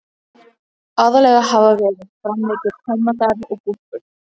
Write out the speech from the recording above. Aðallega hafa verið framleiddir tómatar og gúrkur.